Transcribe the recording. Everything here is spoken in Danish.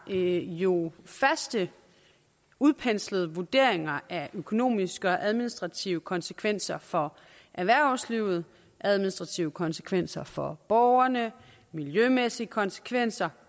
er jo faste udpenslede vurderinger af økonomiske og administrative konsekvenser for erhvervslivet administrative konsekvenser for borgerne miljømæssige konsekvenser